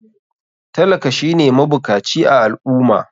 Talaka shine mabukaci a al ummah